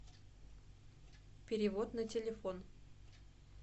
перевод на телефон